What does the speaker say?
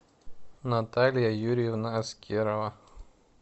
наталья юрьевна аскерова